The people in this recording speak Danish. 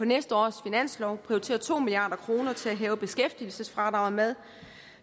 næste års finanslov prioritere to milliard kroner til at hæve beskæftigelsesfradraget med